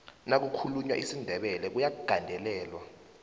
nakukhulunywa isindebele kuyagandelelwa